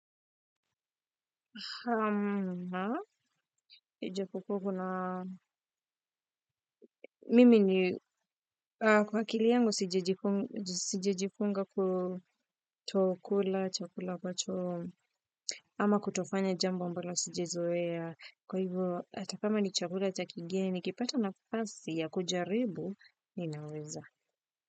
Ha na, ijapokuwa kuna mimi ni, kwa akili yangu sijajifunga kutokula, chakula ambacho ama kutofanya jambo ambalo sijazoea, kwa hivyo, hata kama ni chakula cha kigeni, nikipata nafasi ya kujaribu, ninaweza.